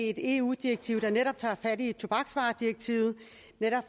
et eu direktiv der netop tager fat i tobaksvaredirektivet